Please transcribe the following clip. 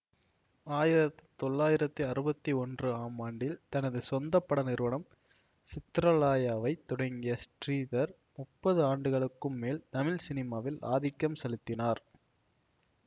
ஆயிர தொளாயிரத்தி அறுபத்தி ஒன்று ஆம் ஆண்டில் தனது சொந்த பட நிறுவனம் சித்ராலயாவைத் தொடங்கிய ஸ்ரீதர் முப்பது ஆண்டுகளுக்கும் மேல் தமிழ் சினிமாவில் ஆதிக்கம் செலுத்தினார்